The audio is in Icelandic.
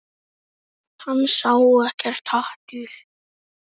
Hann sá ekkert hatur.